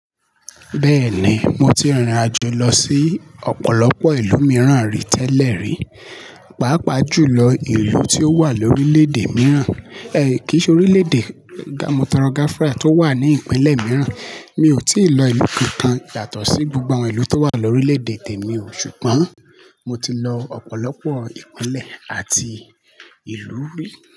Bẹ́ẹ̀ni, mo ti rìnrìn àjò lọ sí ọ̀pọ̀lọpọ̀ ìlú mìíràn rí tẹ́lẹ̀ rí, pàápàá jùlọ ìlú tí ó wà lórílèèdè mìíràn, ẹ́ kì í ṣe orílèèdè mo toro gafara, tó wà ní ìpínlẹ̀ mìíràn, mi ò tí ì lọ ìlú kankan yàtó sí gbogbo àwọn ìlú tó wà lórílèèdè temi o, ṣùgbọ́n mo ti lọ ọ̀pọ̀lọpọ̀ ìpínlẹ̀ àti ìlú ri.